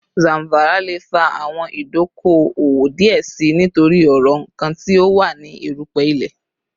Zamfara le fa awọn idoko-owo diẹ sii nitori ọrọ nkan ti o wa ni erupe ile